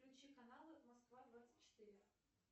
включи каналы москва двадцать четыре